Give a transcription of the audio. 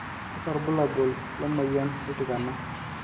kakua irbulabol le moyian oltikana